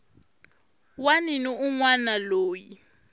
wana ni un wana loyi